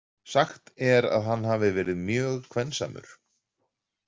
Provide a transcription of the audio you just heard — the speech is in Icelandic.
Sagt er að hann hafi verið mjög kvensamur.